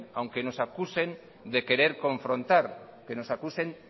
aunque nos acusen de querer confrontar que nos acusen